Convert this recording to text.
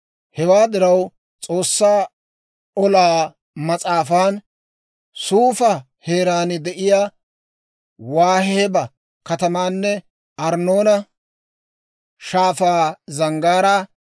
Hewaa diraw, S'oossaa Olaa Mas'aafan, «Suufa heeraan de'iyaa Waaheeba katamaanne Arnnoona Shaafaa zanggaaraa,